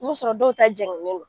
N'o sɔrɔ dɔw ta jɛngɛnen don